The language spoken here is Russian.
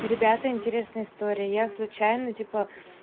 ребята интересная история я случайно типа